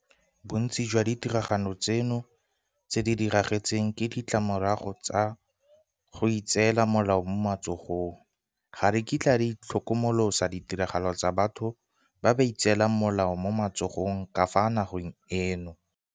Bontsi jwa ditiragalo tseno tse di diragetseng ke ditlamorago tsa go itseela molao mo matsogong. Ga re kitla re itlhokomolosa ditiragalo tsa batho ba ba itseelang molao mo matsogong ka fa nageng eno.